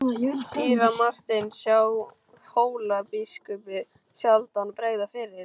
Síra Marteinn sá Hólabiskupi sjaldan bregða fyrir.